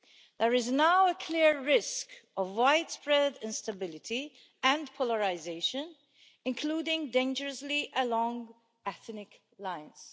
There is now a clear risk of widespread instability and polarisation, including, dangerously, along ethnic lines.